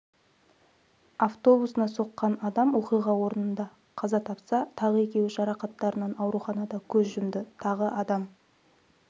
автобусына соққан адам оқиға орнында қаза тапса тағы екеуі жарақаттарынан ауруханада көз жұмды тағы адам